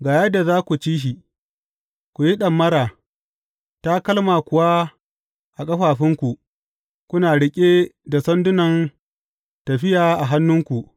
Ga yadda za ku ci shi, ku yi ɗamara, takalma kuwa a ƙafafunku, kuna riƙe da sandunan tafiya a hannunku.